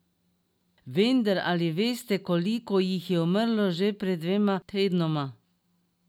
Vendar, ali veste koliko jih je umrlo še pred dvema tednoma?